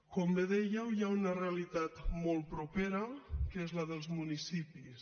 com bé dèieu hi ha una realitat molt propera que és la dels municipis